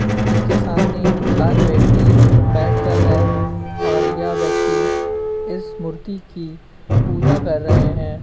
इसके सामने चार व्यक्ति बैठकर है। और यह व्यक्ति इस मूर्ति की पूजा कर रहे हैं।